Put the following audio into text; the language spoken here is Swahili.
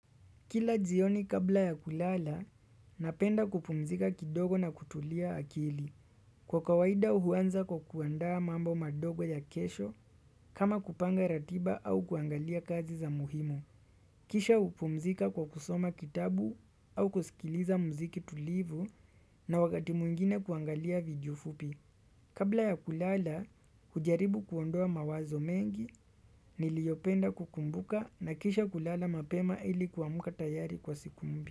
Kila jioni kabla ya kulala, napenda kupumzika kidogo na kutulia akili. Kwa kawaida huanza kwa kuandaa mambo madogo ya kesho kama kupanga ratiba au kuangalia kazi za muhimu. Kisha hupumzika kwa kusoma kitabu au kusikiliza muziki tulivu na wakati mwingine kuangalia video fupi. Kabla ya kulala, hujaribu kuondoa mawazo mengi, niliopenda kukumbuka na kisha kulala mapema ili kuamka tayari kwa siku mpya.